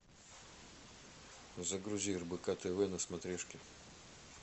загрузи рбк тв на смотрешке